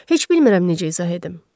Heç bilmirəm necə izah edim.